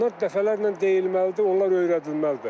Bunlar dəfələrlə deyilməlidir, onlar öyrədilməlidir.